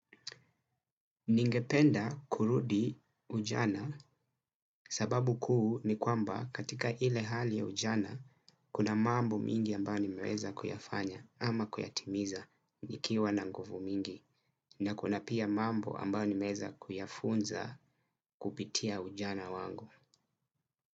Ningependa kurudi ujana sababu kuu ni kwamba katika ile hali ya ujana kuna mambo mingi ambao nimeweza kuyafanya ama kuyatimiza nikiwa na nguvu mingi na kuna pia mambo ambayo nimeweza kuyafunza kupitia ujana wangu.